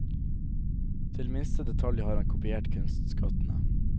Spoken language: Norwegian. Til minste detalj har han kopiert kunstskattene.